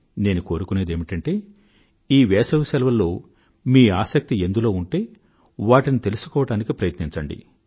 నేను కోరుకునేదేమిటంటే ఈ వేసవి సెలవులలో మీ ఆసక్తి ఎందులో ఉంటే వాటిని తెలుసుకోవడానికి ప్రయత్నించండి